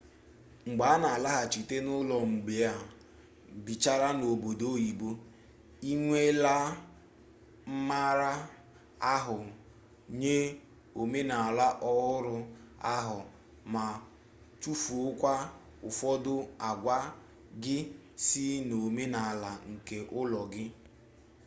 mgbe a na-alaghachite n'ụlọ mgbe e bichara n'obodo oyibo ị nweela mmara ahụ nye omenala ọhụrụ ahụ ma tufuokwa ụfọdụ agwa gị si n'omenala nke ụlọ gị